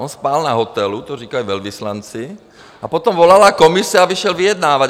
On spal na hotelu, to říkali velvyslanci, a potom volala Komise a vyšel vyjednávat.